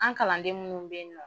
An kalanden munnu beyen nɔ